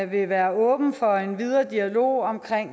vil være åben for en videre dialog om